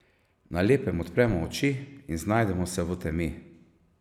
Na lepem odpremo oči in znajdemo se v temi.